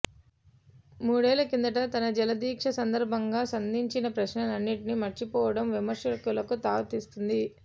మూడేళ్ల కిందట తన జలదీక్ష సందర్భంగా సంధించిన ప్రశ్నలన్నిటినీ మర్చిపోవడం విమర్శలకు తావిస్తోంది